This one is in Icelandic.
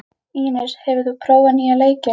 Ínes, hefur þú prófað nýja leikinn?